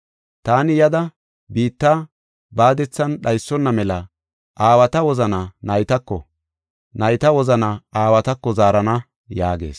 Taani yada biitta baadethan dhaysonna mela aawata wozana naytako, nayta wozana aawatako zaarana” yaagees.